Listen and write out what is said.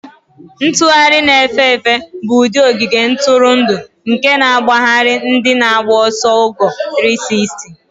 Ntugharị na-efe efe bụ ụdị ogige ntụrụndụ nke na-agbagharị ndị na-agba ọsọ ogo 360.